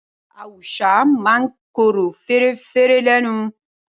Awùsá máa ń korò fẹ̀rẹ́fẹ́ lẹ́nu